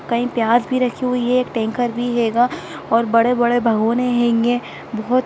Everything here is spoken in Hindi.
कहीं प्याज भी रखी हुई है एक टैंकर भी हेगा बड़े-बड़े भागोने हेंगे बहोत --